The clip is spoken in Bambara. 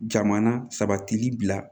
Jamana sabatili bila